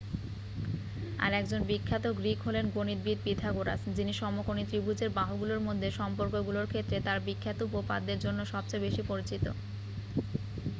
আর একজন বিখ্যাত গ্রীক হলেন গণিতবিদ পিথাগোরাস যিনি সমকোণী ত্রিভুজের বাহুগুলোর মধ্যে সম্পর্কগুলোর ক্ষেত্রে তাঁর বিখ্যাত উপপাদ্যের জন্য সবচেয়ে বেশি পরিচিত